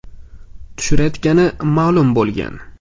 tushirayotgani ma’lum bo‘lgan.